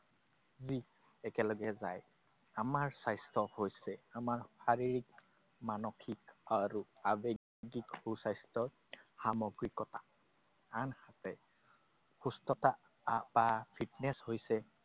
যি একেলগে যায়। আমাৰ স্বাস্থ্য হৈছে আমাৰ শাৰীৰিক, মানসিক আৰু আৱেগিক সুস্বাস্থ্য, সমগ্ৰীকতা। আনহাতে সুস্থতা বা fitness হৈছে